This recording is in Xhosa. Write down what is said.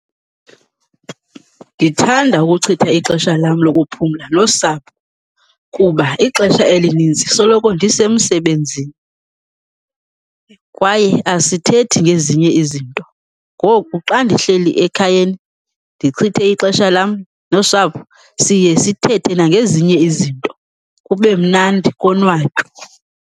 Ndithanda ukuchitha ixesha lam lokuphumla nosapho kuba ixesha elinintsi soloko ndisemsebenzini kwaye asithethi ngezinye izinto. Ngoku xa ndihleli ekhayeni ndichithe ixesha lam nosapho siye sithethe nangezinye izinto, kube mnandi konwatywe.